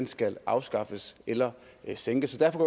skal afskaffes eller sænkes derfor